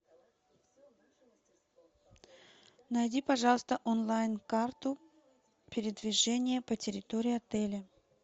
найди пожалуйста онлайн карту передвижения по территории отеля